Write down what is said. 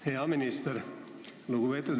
Aitäh, lugupeetud eesistuja!